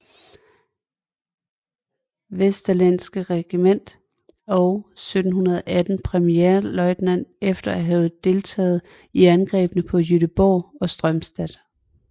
Vesterlenske Regiment og 1718 premierløjtnant efter at have deltaget i angrebene på Göteborg og Strømstad